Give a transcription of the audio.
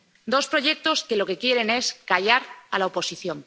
Dos proyectos que lo que quieren es callar a la oposición.